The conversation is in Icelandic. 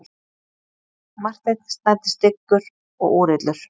Marteinn snæddi styggur og úrillur.